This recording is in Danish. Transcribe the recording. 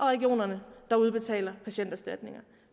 regionerne der udbetaler patienterstatninger